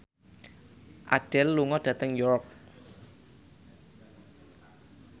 Adele lunga dhateng York